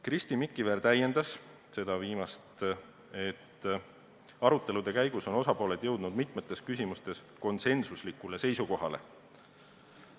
Kristi Mikiver märkis, et arutelude käigus on osapooled jõudnud mitmetes küsimustes konsensuslikule seisukohale.